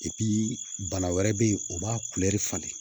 bana wɛrɛ bɛ yen o b'a falen